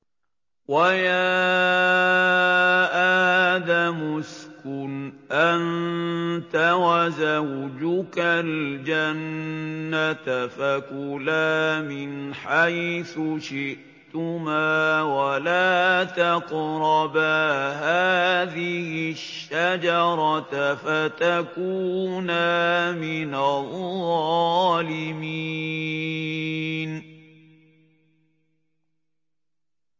وَيَا آدَمُ اسْكُنْ أَنتَ وَزَوْجُكَ الْجَنَّةَ فَكُلَا مِنْ حَيْثُ شِئْتُمَا وَلَا تَقْرَبَا هَٰذِهِ الشَّجَرَةَ فَتَكُونَا مِنَ الظَّالِمِينَ